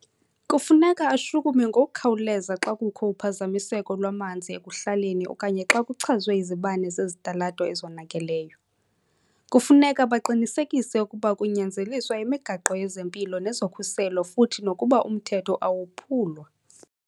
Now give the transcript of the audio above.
Kufuneka ashukume ngokukhawuleza xa kukho uphazamiseko lwamanzi ekuhlaleni okanye xa kuchazwe izibane zesitalato ezonakeleyo. Kufuneka baqinisekise ukuba kunyanzeliswa imigaqo yezempilo nezokhuseleko futhi nokuba umthetho awophulwa.